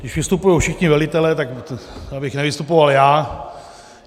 Když vystupují všichni velitelé, tak abych nevystupoval já.